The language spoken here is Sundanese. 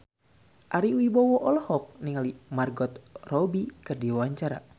Ari Wibowo olohok ningali Margot Robbie keur diwawancara